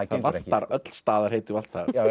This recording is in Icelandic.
vantar öll staðarheiti og allt það